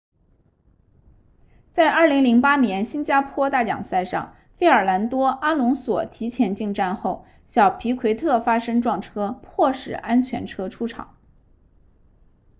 在2008年新加坡大奖赛上费尔南多阿隆索提前进站后小皮奎特发生撞车迫使安全车出场